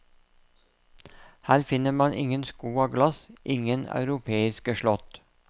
Her finner man ingen sko av glass, ingen europeiske slott.